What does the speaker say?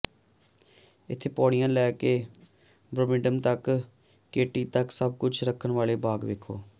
ਇੱਥੇ ਪੌੜੀਆਂ ਤੋਂ ਲੈ ਕੇ ਬ੍ਰੌਮਿਲੀਆਡ ਤੱਕ ਕੈਟੀ ਤੱਕ ਸਭ ਕੁਝ ਰੱਖਣ ਵਾਲੇ ਬਾਗ ਵੇਖੋ